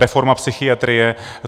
Reforma psychiatrie.